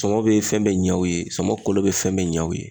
Sɔmɔ be fɛn bɛɛ ɲɛ u ye, sɔmɔ kolo bi fɛn bɛɛ ɲɛ u ye.